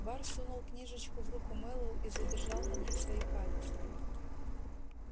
бар сунул книжечку в руку мэллоу и задержал на ней свои пальцы